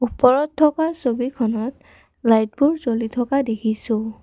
ওপৰত থকা ছবিখনত লাইটবোৰ জ্বলি থকা দেখিছোঁ।